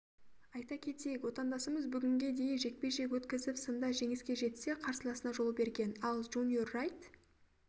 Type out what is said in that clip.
айта кетейік отандасымыз бүгінге дейін жекпе-жек өткізіп сында жеңіске жетсе қарсыласына жол берген ал джуниор райт